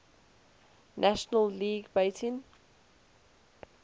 national league batting